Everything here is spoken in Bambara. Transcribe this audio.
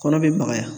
Kɔnɔ bɛ magaya